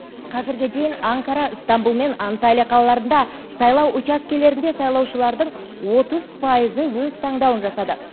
қазірге дейін анкара ыстамбұл мен анталия қалаларындағы сайлау учаскелерінде сайлаушылардың отыз пайызы өз таңдауын жасады